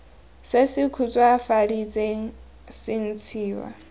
se se khutswafaditsweng se ntshiwa